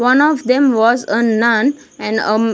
One of them was a nun and a --